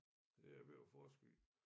Det er jeg ved at forske i